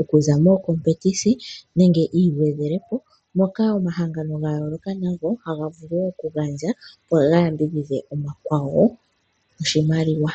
Okuza momathigathano nenge yiigwedhelepo moka omahangano gayooloka nago haga vulu okugandja opo ga yambidhidhe omakwawo noshimaliwa.